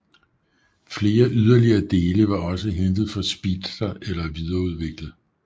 Flere yderligere dele var også hentet fra Speedster eller videreudviklet